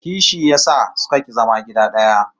Kishi ya sa sun ki zama gida daya